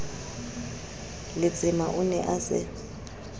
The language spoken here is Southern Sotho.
letsema o ne a se